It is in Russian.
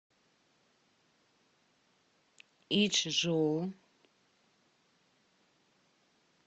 ичжоу